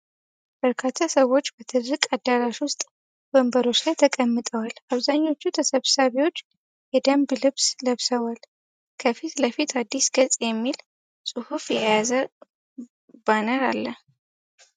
በርካታ ሰዎች በትልቅ አዳራሽ ውስጥ ወንበሮች ላይ ተቀምጠዋል። አብዛኞቹ ተሰብሳቢዎች የደንብ ልብስ ለብሰዋል። ከፊት ለፊት "አዲስ ገጽ" የሚል ጽሑፍ የያዘ ባነር አለ።